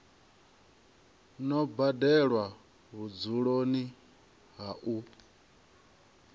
no badelwa vhudzuloni ha u